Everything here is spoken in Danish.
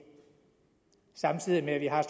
samtidig med at vi har